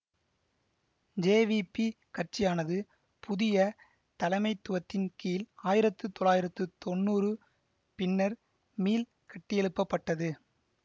JVP கட்சியானது புதிய தலைமைத்துவத்தின் கீழ் ஆயிரத்து தொள்ளாயிரத்து தொன்னூறு பின்னர் மீள் கட்டியெழுப்பப்பட்டது